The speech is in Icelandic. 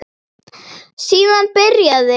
Síðan byrjaði